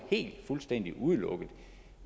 fuldstændig udelukket